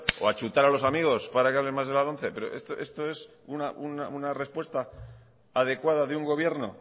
o a chutar a los amigos para que más de la lomce pero esto es una respuesta adecuada de un gobierno